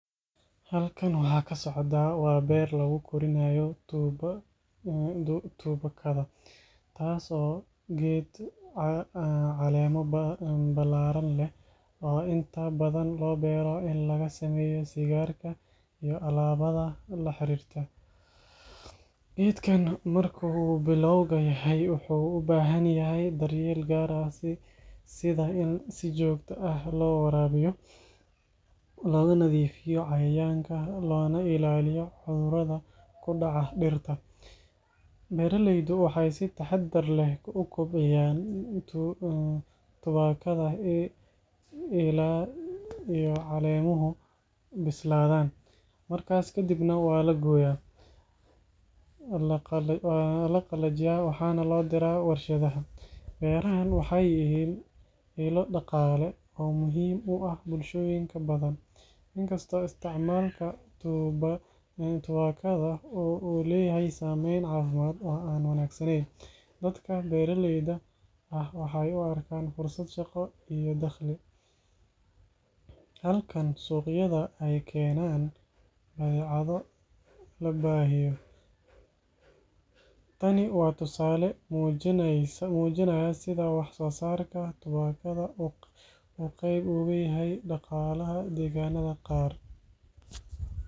Halkan waxa ka socda waa beer lagu korinayo tubaakada, taas oo ah geed caleemo ballaaran leh oo inta badan loo beero in laga sameeyo sigaarka iyo alaabada la xiriirta. Geedkan marka uu bilowga yahay wuxuu u baahan yahay daryeel gaar ah sida in si joogto ah loo waraabiyo, looga nadiifiyo cayayaanka, loona ilaaliyo cudurrada ku dhaca dhirta. Beeraleydu waxay si taxaddar leh u kobciyaan tubaakada ilaa ay caleemuhu bislaadaan, markaas kadibna waa la gooyaa, la qalajiyaa, waxaana loo diraa warshadaha. Beerahan waxay yihiin ilo dhaqaale oo muhiim u ah bulshooyin badan, inkastoo isticmaalka tubaakada uu leeyahay saameyn caafimaad oo aan wanaagsanayn. Dadka beeraleyda ah waxay u arkaan fursad shaqo iyo dakhli, halka suuqyada ay keenaan badeeco la baahiyo. Tani waa tusaale muujinaya sida wax-soosaarka tubaakada uu qeyb uga yahay dhaqaalaha deegaanada qaar.